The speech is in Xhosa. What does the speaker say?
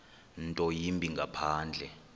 nto yimbi ngaphandle